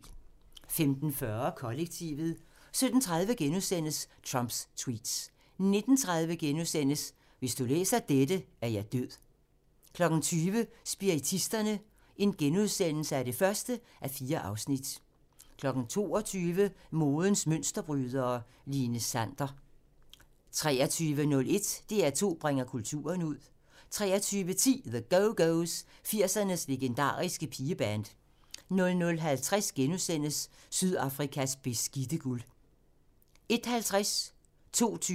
15:40: Kollektivet 17:30: Trumps tweets * 19:30: Hvis du læser dette, er jeg død (2:4)* 20:00: Spiritisterne (1:4)* 22:00: Modens Mønsterbrydere: Line Sander 23:01: DR2 bringer kulturen ud 23:10: The Go-Go's – 80'ernes legendariske pigeband 00:50: Sydafrikas beskidte guld * 01:50: Deadline * 02:20: Deadline *